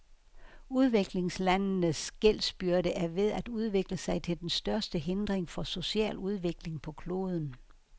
Udviklingslandenes gældsbyrde er ved at udvikle sig til den største hindring for social udvikling på kloden.